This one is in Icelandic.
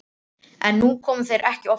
En nú koma þeir ekki oftar.